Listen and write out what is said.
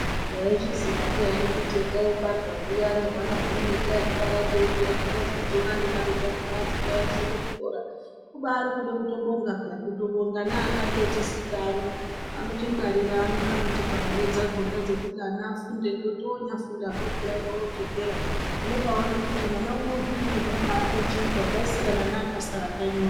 Waizviziva ndian kuti toobara zviyani huwana hunoita nekukura tichazodziona nemari dzakona dzekuwaendese kuchikora kubairi kutobonga peya kutobonga nevakatotidika ani anotipa mare dzakona dzekuti mwana afunde nekuti onyafunda peyani odzokera unoona kuti mwana Uno watochinja zvasiyana newakasara kanyi Uno.